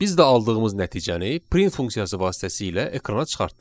Biz də aldığımız nəticəni print funksiyası vasitəsilə ekrana çıxartdıq.